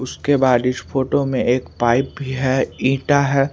उसके बाद इस फोटो में एक पाइप भी है इंटा है।